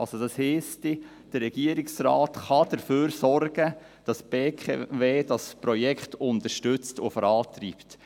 Das würde heissen, dass der Regierungsrat dafür sorgen kann, dass die BKW das Projekt unterstützt und vorantreibt.